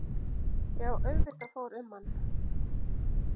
Já auðvitað fór um mann.